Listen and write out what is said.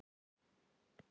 Takið frænku mína sem dæmi.